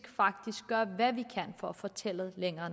faktisk gøre hvad vi politisk kan for at få tallet længere